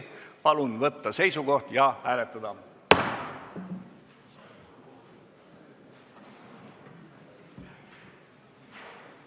Palun võtta seisukoht ja hääletada!